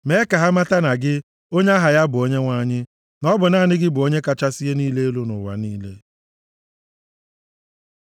Mee ka ha mata na gị, onye aha ya bụ Onyenwe anyị, na ọ bụ naanị gị bụ Onye kachasị ihe niile elu nʼụwa niile.